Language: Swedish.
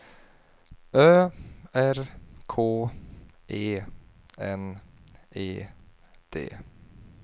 Ö R K E N E D